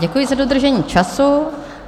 Děkuji za dodržení času.